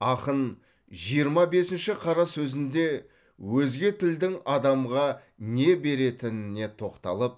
ақын жиырма бесінші қара сөзінде өзге тілдің адамға не беретініне тоқталып